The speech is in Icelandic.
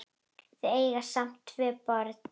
Þau eiga saman tvö börn.